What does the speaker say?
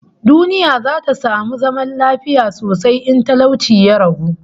Duniya za ta samu zaman lafiya sosai in talauci ya ragu